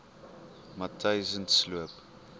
matyzensloop